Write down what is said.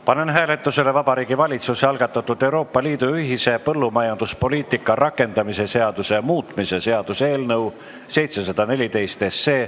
Panen hääletusele Vabariigi Valitsuse algatatud Euroopa Liidu ühise põllumajanduspoliitika rakendamise seaduse muutmise seaduse eelnõu 714.